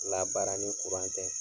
Labaara ni tɛ